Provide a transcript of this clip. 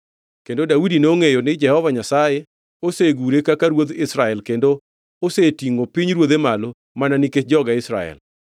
Kendo Daudi nongʼeyo ni Jehova Nyasaye osegure kaka ruodh Israel kendo osetingʼo pinyruodhe malo mana nikech joge Israel.